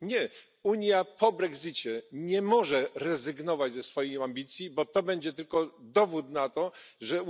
Nie, Unia po brexicie nie może rezygnować ze swoich ambicji, bo to będzie tylko dowód na to, że